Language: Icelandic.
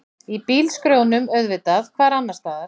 Í bílskrjóðnum auðvitað, hvar annarstaðar?